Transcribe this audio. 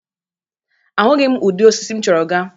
Ahụghị udị osisi m chọrọ ga.